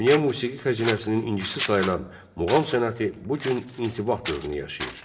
Dünya musiqi xəzinəsinin incisi sayılan muğam sənəti bu gün intibah dövrünü yaşayır.